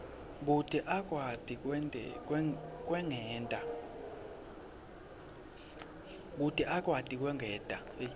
kute akwati kwengeta